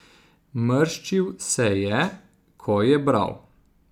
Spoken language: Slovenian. Mrščil se je, ko je bral.